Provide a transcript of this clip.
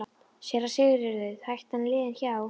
SÉRA SIGURÐUR: Hættan er liðin hjá!